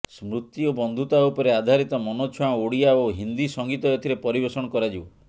ସ୍ମୃତି ଓ ବନ୍ଧୁତା ଉପରେ ଆଧାରିତ ମନଛୁଆଁ ଓଡ଼ିଆ ଓ ହିନ୍ଦୀ ସଙ୍ଗୀତ ଏଥିରେ ପରିବେଷଣ କରାଯିବ